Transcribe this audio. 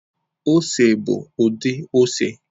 Ose bụ ụdị ose